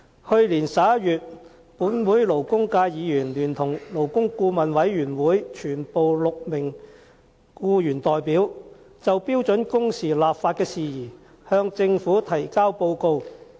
去年11月，本會勞工界議員聯同勞工顧問委員會全部6名僱員代表就標準工時立法事宜向政府提交報告。